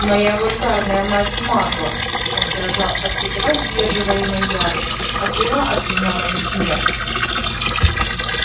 моя вульгарная мать магла он дрожал от едва сдерживаемой ярости отвела от меня мою смерть